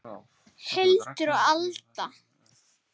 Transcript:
Hildur og Alda.